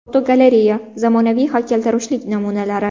Fotogalereya: Zamonaviy haykaltaroshlik namunalari.